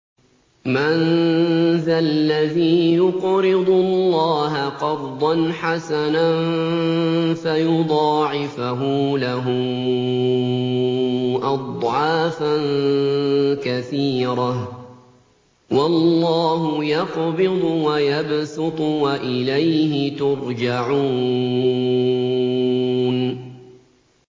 مَّن ذَا الَّذِي يُقْرِضُ اللَّهَ قَرْضًا حَسَنًا فَيُضَاعِفَهُ لَهُ أَضْعَافًا كَثِيرَةً ۚ وَاللَّهُ يَقْبِضُ وَيَبْسُطُ وَإِلَيْهِ تُرْجَعُونَ